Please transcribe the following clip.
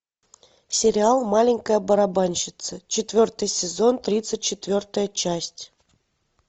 сериал маленькая барабанщица четвертый сезон тридцать четвертая часть